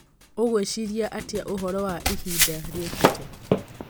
ũgwĩciria atĩa ũhoro wa ihinda rĩũkĩte